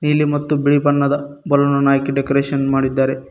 ನೀಲಿ ಮತ್ತು ಬಿಳಿ ಬಣ್ಣದ ಬಲೂನ್ ಅನ್ನು ಆಕಿ ಡೆಕೋರೇಷನ್ ಮಾಡಿದ್ದಾರೆ.